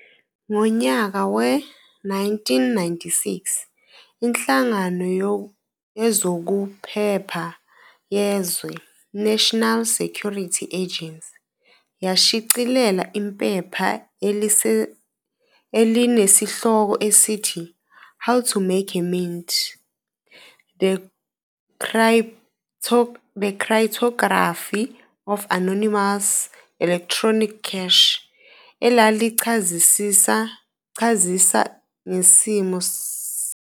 Ngonyaka we-1996, iNhlangano yezokuPheoha yeZwe "National Security Agency" yashicilela iphepha elinesihloko esithi "How to Make a Mint- The Cryptography of Anonymous Electronic Cash", elalichazisa ngesimiso senkecesomane.